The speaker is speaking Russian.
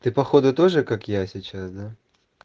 ты походу тоже как я сейчас да